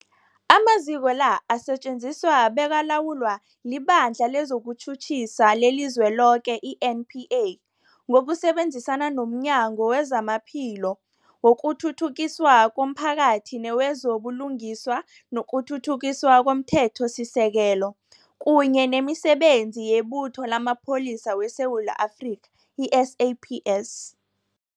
Amaziko la asetjenziswa bekalawulwa liBandla lezokuTjhutjhisa leliZweloke, i-NPA, ngokusebenzisana nomnyango wezamaPhilo, wokuthuthukiswa komphakathi newezo buLungiswa nokuThuthukiswa komThethosisekelo, kunye nemiSebenzi yeButho lamaPholisa weSewula Afrika, i-SAPS.